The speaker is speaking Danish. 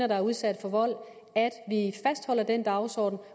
der er udsat for vold fastholder den dagsorden